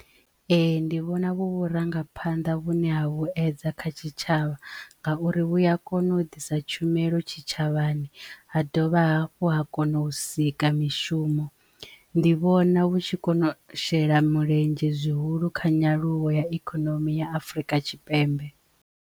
Ee ndi vhona vhu vhurangaphanḓa vhune ha vhuedza kha tshitshavha ngauri vhuya a kona u ḓisa tshumelo tshitshavhani ha dovha hafhu ha kona u sika mishumo ndi vhona vhu tshi kona u shela mulenzhe zwihulu kha nyaluwo ya ikonomi ya Afrika Tshipembe.